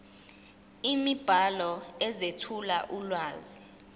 imibhalo ezethula ulwazi